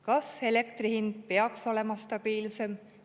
Kas elektri hind peaks olema stabiilsem?